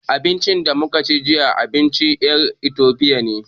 Abincin da muka ci jiya, abincin ƴan Itofiya ne.